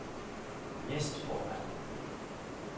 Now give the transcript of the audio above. næstformand